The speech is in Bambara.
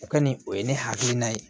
O kɔni o ye ne hakilina ye